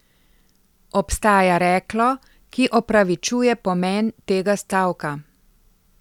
Obstaja reklo, ki opravičuje pomen tega stavka.